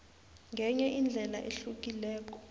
ngenye indlela ehlukileko